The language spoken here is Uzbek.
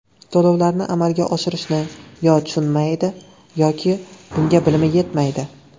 To‘lovlarni amalga oshirishni yo tushunmaydi, yoki bunga bilimi yetmaydi.